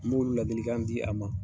N m'o ladilikan di a ma.